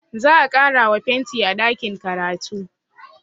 Za a ƙarawa fenti a ɗakin karatu